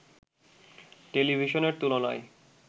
টেলিভিশনের তুলনায়